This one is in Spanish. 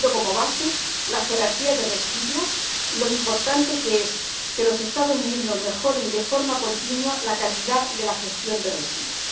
Tomando como base la jerarquía de residuos, lo importante es que los Estados miembros mejoren de forma continua la calidad de la gestión de residuos.